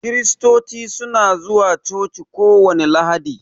Kiristoci su na zuwa coci kowani lahadi.